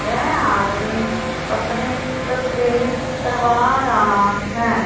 यह आदमी अपनी तस्वीर करवा रहा है।